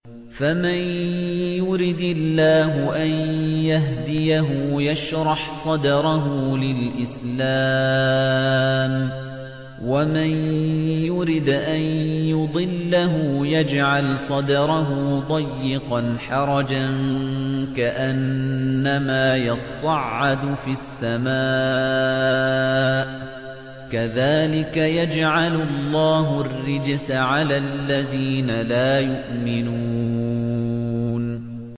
فَمَن يُرِدِ اللَّهُ أَن يَهْدِيَهُ يَشْرَحْ صَدْرَهُ لِلْإِسْلَامِ ۖ وَمَن يُرِدْ أَن يُضِلَّهُ يَجْعَلْ صَدْرَهُ ضَيِّقًا حَرَجًا كَأَنَّمَا يَصَّعَّدُ فِي السَّمَاءِ ۚ كَذَٰلِكَ يَجْعَلُ اللَّهُ الرِّجْسَ عَلَى الَّذِينَ لَا يُؤْمِنُونَ